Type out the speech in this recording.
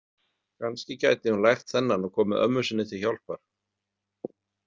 Kannski gæti hún lært þennan og komið ömmu sinni til hjálpar.